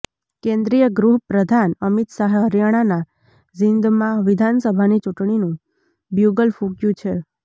કેન્દ્રીય ગૃહ પ્રધાન અમિત શાહે હરિયાણાના જીંદમાં વિધાનસભાની ચૂંટણીનું બ્યૂગલ ફુક્યુ છે